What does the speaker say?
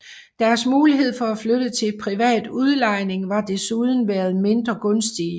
Deres muligheder for at flytte til privat udlejning har desuden været mindre gunstige